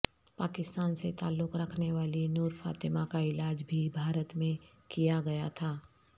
پاکستان سے تعلق رکھنے والی نور فاطمہ کا علاج بھی بھارت میں کیا گیا تھا